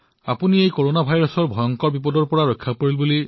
মই শুনিছো যে আপুনি কৰনা ভাইৰাছৰ এই সংকটৰ পৰা মুক্তি পাইছে